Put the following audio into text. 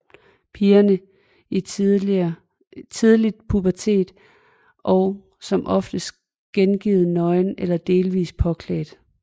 Pigerne er i tidlig pubertet og som oftest gengivet nøgne eller delvis påklædt